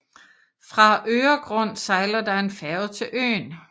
Fra Öregrund sejler der en færge til øen